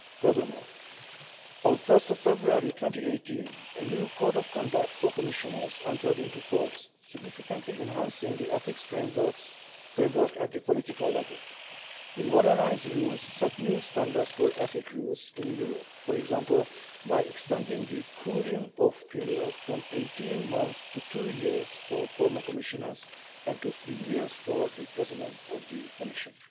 Furthermore, on 1 February 2018, a new Code of Conduct for Commissioners entered into force, significantly enhancing the ethics framework at the political level. The modernised rules set new standards for ethics rules in Europe, for example by extending the cooling-off period from 18 months to two years for former Commissioners and to three years for the President of the Commission.